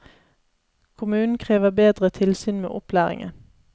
Kommunen krever bedre tilsyn med opplæringen.